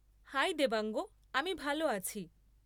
High Devang! আমি ভাল আছি।